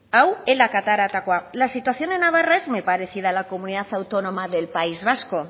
hau elak ateratakoa la situación en navarra es muy parecida a la comunidad autónoma del país vasco